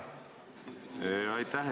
Aitäh!